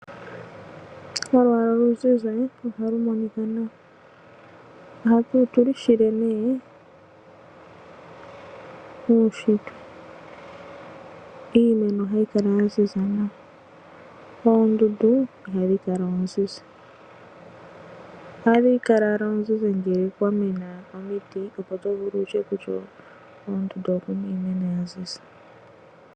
Olwaala oluzizi ohalu monika nawa. Otu lu shile kuunshitwe. Iimeno ohayi kala ya ziza nawa. Oondundu ohadhi kala oozizi. Ohadhi kala oozizi ngele kwa mena omiti, opo to vulu wu tye koondundu oku na iimeno ya ziza.